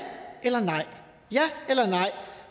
eller nej ja eller nej